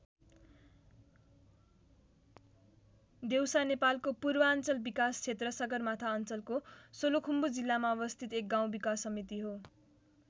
देउसा नेपालको पूर्वाञ्चल विकास क्षेत्र सगरमाथा अञ्चलको सोलुखुम्बु जिल्लामा अवस्थित एक गाउँ विकास समिति हो।